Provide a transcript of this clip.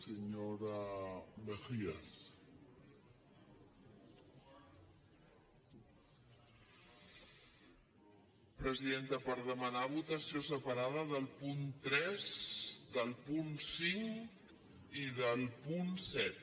presidenta per demanar votació separada del punt tres del punt cinc i del punt set